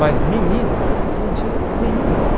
Mas menino não tinha nenhum nome.